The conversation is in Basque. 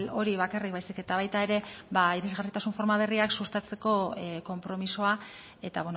hori bakarrik baizik eta baita ere ba irisgarritasun forma berriak sustatzeko konpromisoa eta